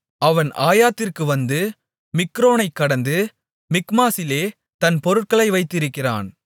அவன் ஆயாத்திற்கு வந்து மிக்ரோனைக் கடந்து மிக்மாசிலே தன் பொருட்களை வைத்திருக்கிறான்